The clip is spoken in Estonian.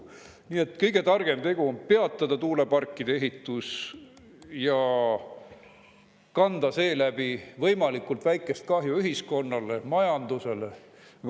Nii et kõige targem tegu on peatada tuuleparkide ehitus ja kanda seeläbi võimalikult väikest kahju ühiskonnale ja majandusele.